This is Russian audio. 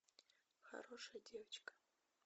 хорошая девочка